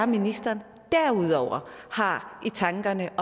ministeren derudover har i tankerne